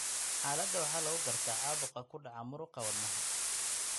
Xaaladda waxaa lagu gartaa caabuq ku dhaca muruqa wadnaha (myocardium).